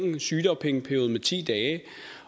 sygedagpengeperioden med ti dage